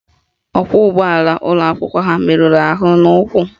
Ọkwọụgbọala ụlọakwụkwọ ha meruru ahụ n'ụkwụ